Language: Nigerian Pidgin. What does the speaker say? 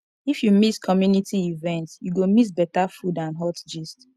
if you miss community event you go miss better food and hot gist